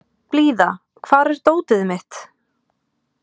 Blíða, hvar er dótið mitt?